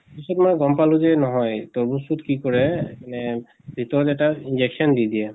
পিছত মই গম পালো যে নহয় তৰ্মুজ টোত কি কৰে মানে ভিতৰত এটা injection দি দিয়ে।